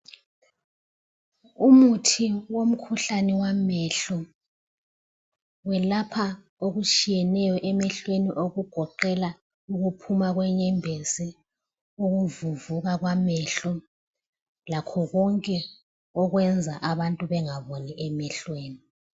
Umuthi womkhuhlane wamehlo. Welapha okutshiyeneyo emehlweni okugoqela ukuphuma kwenyembezi, ukuvuvuka kwamehlo lakho konke okwenza abantu bengaboni emehlweni.